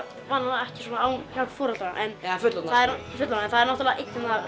venjulega ekki svona án hjálp foreldra eða fullorðinna en það er náttúrulega einn hérna